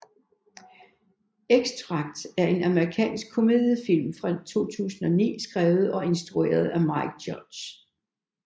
Extract er en amerikansk komediefilm fra 2009 skrevet og instrueret af Mike Judge